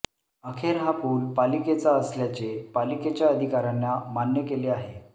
अखेर हा पूल पालिकेचा असल्याचे पालिकेच्या अधिकाऱ्यांना मान्य केले आहे